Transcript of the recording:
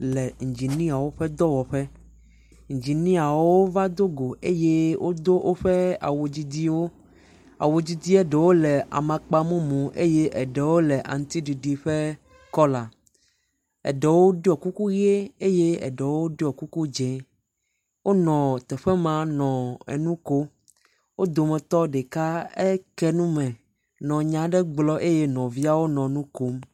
Le ŋginiewoƒe ƒe dɔwɔƒe, ŋginiewo va dogo eye wodo woƒe awu didiwo. Awu didia ɖewo le amakpamumu eye eɖewo le aŋutiɖiɖi ƒe kɔla. Eɖewo ɖɔ kuku ʋi eye eɖewo ɖɔ kuku dzɛ̃e. Wonɔ teƒe ma nɔ nu kom. Wo dometɔ ɖeka ke nu me nɔ nya aɖe gblɔm eye nɔviawo nɔ nu kom.